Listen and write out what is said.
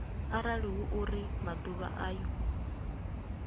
arali hu uri maḓuvha ayo